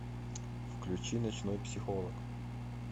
включи ночной психолог